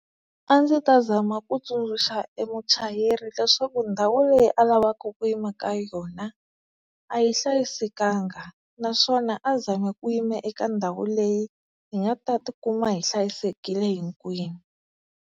A ndzi ta zama ku tsundzuxa e muchayeri leswaku ndhawu leyi a lavaka ku yima ka yona a yi hlayisekanga, naswona a zami ku yima eka ndhawu leyi hi nga ta tikuma hi hlayisekile hikwenu.